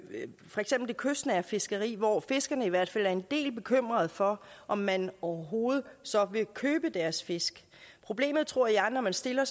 kystnære fiskeri hvor fiskerne i hvert fald er en del bekymret for om man overhovedet så vil købe deres fisk problemet er tror jeg når man stiller